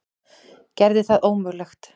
Gerði það ómögulegt.